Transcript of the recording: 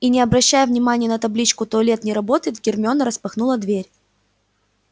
и не обращая внимания на табличку туалет не работает гермиона распахнула дверь